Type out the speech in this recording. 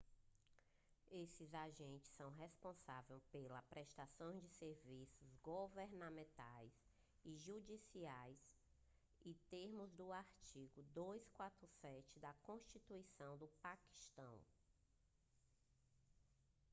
esses agentes são responsáveis pela prestação de serviços governamentais e judiciais nos termos do artigo 247 da constituição do paquistão